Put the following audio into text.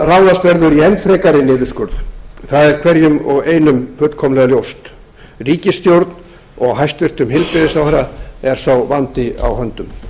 að ráðast verður í enn frekari niðurskurð það er hverjum og einum fullkomlega ljóst ríkisstjórn og hæstvirtur heilbrigðisráðherra er sá vandi á höndum